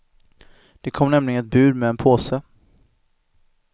Det kom nämligen ett bud med en påse.